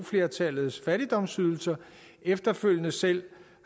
flertallets fattigdomsydelser efterfølgende selv